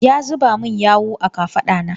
Ya zuba min yawu a kafaɗa na.